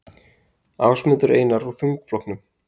Ásmundur Einar úr þingflokknum